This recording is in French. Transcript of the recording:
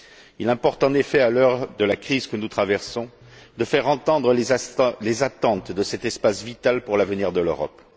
Il importe en effet, à l'heure de la crise que nous traversons, de faire entendre les attentes de cet espace vital pour l'avenir de l'Europe.